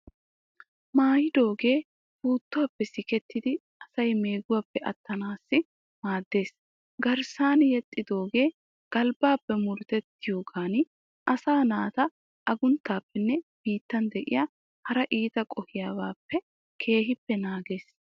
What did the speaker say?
Maayidooge puuttuwaappe sikettidi asaay meeguwappe attanaassi maaddeees. Garssan yexxidoogee galbbaappe murutettiyogan asaa naata agunttaappenne biittan de'ya hara iita qohiyabaappe keehippe naagees.